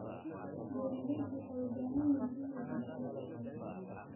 Beeralayda waxay u baahan yihiin inay hubiyaan suuqyada.